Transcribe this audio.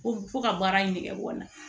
Ko fo ka baara in nege bɔ n na